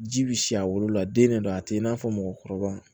Ji bi si a wolola den de do a te i n'a fɔ mɔgɔkɔrɔba